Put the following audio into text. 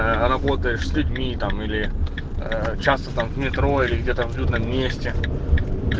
аа работаешь с людьми там или ээ часто там в метро или где-то в людном месте